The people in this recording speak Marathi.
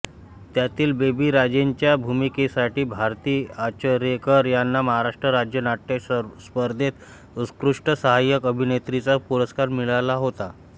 त्यातील बेबीराजेंच्या भूमिकेसाठी भारती आचरेकर यांना महाराष्ट्र राज्य नाट्यस्पर्धेत उत्कृष्ट साहाय्यक अभिनेत्रीचा पुरस्कार मिळाला होता